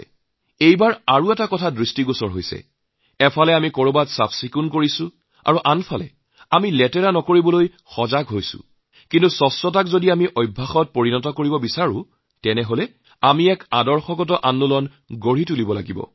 এই বাৰ আৰু এটা দিশ লক্ষ্য কৰিম প্ৰথমতে এটা বস্তু হব পাৰে আমি কোনো এক স্থান পৰিষ্কাৰ কৰিম দ্বিতীয়তে আমি সচেতনতাৰে কোনো স্থান লেতেৰা নকৰোঁ কিন্তু পৰিচ্ছন্নতাকে যদি অভ্যাসত গঢ় দিয়া হয় তেতিয়াহলে আমাৰ বিচাৰধাৰাৰ ভিতৰত বৈপ্লৱিক পৰিৱৰ্তনৰ প্ৰয়োজন